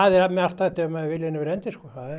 er margt hægt ef viljinn er fyrir hendi